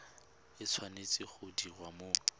e tshwanetse go diriwa mo